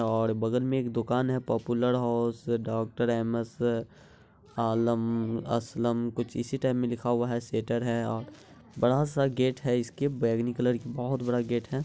और बगल में एक दुकान है popular house doctor Ahmad sir Alam Aslam कुछ इसी टाइप में लिखा हुआ है सेटर है बड़ा सा गेट है इसके बैगनी कलर के बहुत बड़ा गेट है।